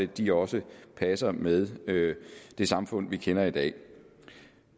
de også passer med det samfund vi kender i dag